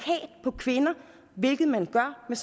på kvinder hvilket man gør med